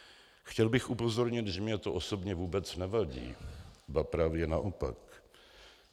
Chtěl bych upozornit, že mně to osobně vůbec nevadí, ba právě naopak.